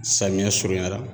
Samiya surunya la